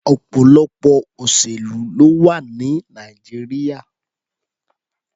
Ọ̀pọ̀lọpọ̀ òṣèlú ló wà ní Nàìjíríà.